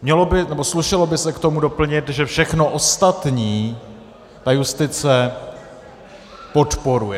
Slušelo by se k tomu doplnit, že všechno ostatní ta justice podporuje.